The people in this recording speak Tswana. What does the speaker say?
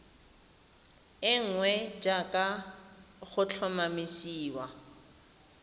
e nngwe jaaka go tlhomamisiwa